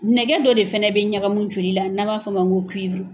Nɛgɛ dɔ de fana bɛ ɲagamu joli la n'a b'a fɔ ma ko